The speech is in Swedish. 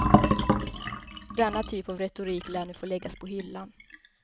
Denna typ av retorik lär nu få läggas på hyllan.